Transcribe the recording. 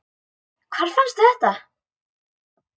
Hvar fannstu þetta?